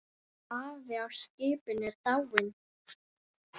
Afi á skipinu er dáinn.